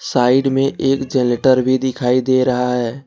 Side में एक generator भी दिखाई दे रहा है।